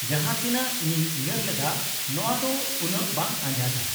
-ᱡᱟᱦᱟᱸ ᱛᱤᱱᱟᱹᱜ ᱤᱧᱤᱧ ᱩᱭᱦᱟᱹᱨ ᱞᱮᱫᱟ ᱱᱚᱶᱟ ᱫᱚ ᱩᱱᱟᱹᱜ ᱵᱟᱝ ᱟᱸᱡᱷᱟᱴᱟ ᱾